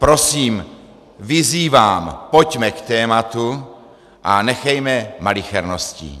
Prosím, vyzývám, pojďme k tématu a nechejme malicherností.